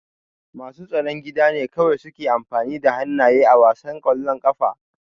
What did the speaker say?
Masu tsaron gida ne kawai suke amfani da hannaye a wasan ƙwallon ƙafa.